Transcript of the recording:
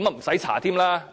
用調查了。